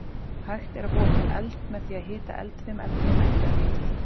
Hægt er að búa til eld með því að hita eldfim efni nægilega mikið.